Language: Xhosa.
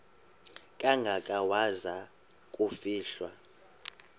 kangaka waza kufihlwa